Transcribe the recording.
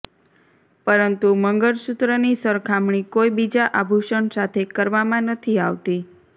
પરંતુ મંગળસૂત્રની સરખામણી કોઈ બીજા આભૂષણ સાથે કરવામાં નથી આવતી